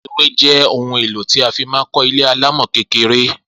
Ewé jé ohun èlò tí a fi ma kó ilé alámò kékeré